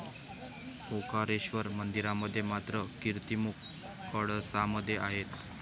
ओंकारेश्वर मंदिरामध्ये मात्र, कीर्तिमुख कळसामध्ये आहे.